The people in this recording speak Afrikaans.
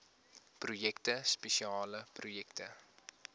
projekte spesiale projekte